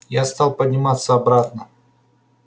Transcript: я стал подниматься обратно